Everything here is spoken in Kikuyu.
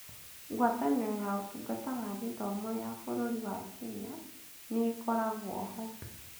Ngwatanĩro ya Ũtungata wa Gĩthomo ya bũrũri wa Kenya nĩ ĩkoragwo ho.